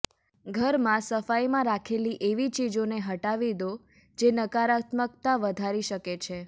ઘરમાં સફાઈમાં રાખેલી એવી ચીજોને હટાવી દો જે નકારાત્મકતા વધારી શકે છે